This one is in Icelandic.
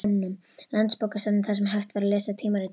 Landsbókasafninu, þar sem hægt var að lesa tímaritin.